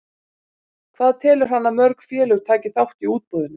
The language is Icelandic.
Hvað telur hann að mörg félög taki þátt í útboðinu?